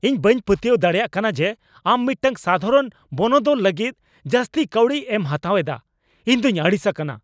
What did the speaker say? ᱤᱧ ᱵᱟᱹᱧ ᱯᱟᱹᱛᱭᱟᱹᱣ ᱫᱟᱲᱮᱭᱟᱜ ᱠᱟᱱᱟ ᱡᱮ ᱟᱢ ᱢᱤᱫᱴᱟᱝ ᱥᱟᱫᱷᱟᱨᱚᱱ ᱵᱚᱱᱚᱫᱚᱞ ᱞᱟᱹᱜᱤᱫ ᱡᱟᱹᱥᱛᱤ ᱠᱟᱹᱣᱰᱤ ᱮᱢ ᱦᱟᱛᱟᱣ ᱮᱫᱟ ᱾ ᱤᱧ ᱫᱚᱧ ᱟᱹᱲᱤᱥ ᱟᱠᱟᱱᱟ ᱾